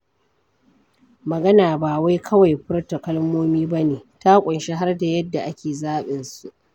Magana ba wai kawai furta kalmomi ba ne, ta ƙunshi har da yadda ake zaɓin su.